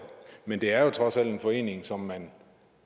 men det er trods alt en forening som man